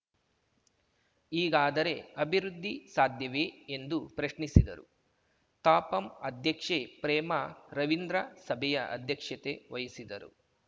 ಹೀಗಾದರೆ ಅಭಿವೃದ್ಧಿ ಸಾಧ್ಯವೇ ಎಂದು ಪ್ರಶ್ನಿಸಿದರು ತಾಪಂ ಅಧ್ಯಕ್ಷೆ ಪ್ರೇಮಾ ರವೀಂದ್ರ ಸಭೆಯ ಅಧ್ಯಕ್ಷತೆ ವಹಿಸಿದರು